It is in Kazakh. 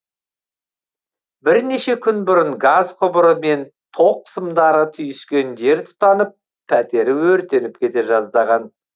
бірнеше күн бұрын газ құбыры мен тоқ сымдары түйіскен жер тұтанып пәтері өртеніп кете жаздаған